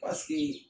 Paseke